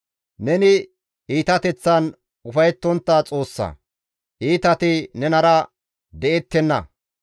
Neni iitateththan ufayettontta Xoossa; iitati nenara de7ettenna.